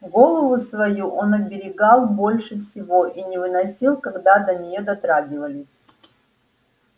голову свою он оберегал больше всего и не выносил когда до неё дотрагивались